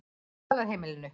Dvalarheimilinu